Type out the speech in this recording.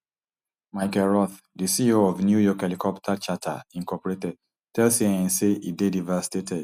michael roth di ceo of new york helicopter charter inc tell cnn say e dey devastated